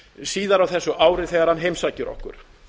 síðar á þessu ári þegar hann heimsækir okkur